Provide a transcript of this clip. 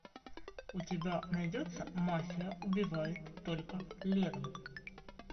у тебя найдется мафия убивает только летом